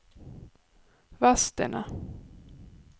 Vadstena